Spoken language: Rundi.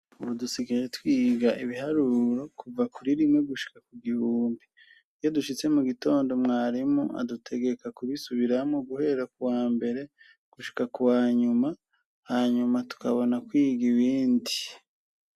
Ubu dusigaye twiga ibiharuro kuva kuri rimwe gushika ku gihumbi. Iyo dushitse mu gitondo, mwarimu adutegeka kubisubiramo guhera ku wa mbere gushika ku wa nyuma hanyuma tukabona kwiga ibindi.